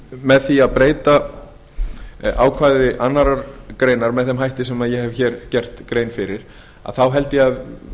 með því að breyta ákvæði annarrar greinar með þeim hætti sem ég hef hér gert grein fyrir þá held ég að